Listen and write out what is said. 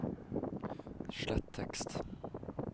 slett tekst